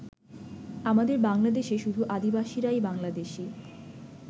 আমাদের বাংলাদেশে শুধু আদিবাসীরাই বাংলাদেশি।